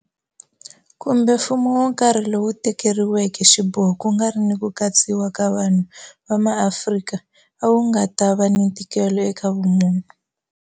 kumbe mfumo wo karhi lowu tekeriweke xiboho ku nga ri ni ku katsiwa ka vanhu va Maafrika a wu nga ta va ni ntikelo eka vumunhu.